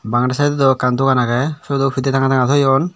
bangedi saidod ow ekkan dogan agey siyodo pidey tanga tanga toyon.